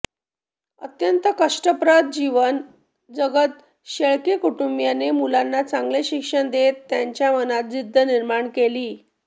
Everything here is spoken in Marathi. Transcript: अत्यंत कष्टप्रद जीवन जगत शेळके कुटुंबाने मुलांना चांगले शिक्षण देत त्यांच्या मनात जिद्द निर्माण केली